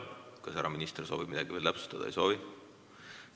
Kas härra minister soovib veel midagi täpsustada?